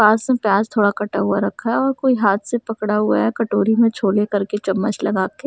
पास में प्याज थोडा कटा हुआ रखा है और कोई हाथ से पकड़ा हुआ है कटोरी में छोड़े करके चम्मच लगा के --